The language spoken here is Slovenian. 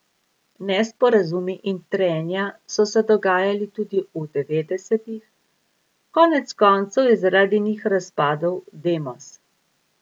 Nesporazumi in trenja so se dogajali tudi v devetdesetih, konec koncev je zaradi njih razpadel Demos.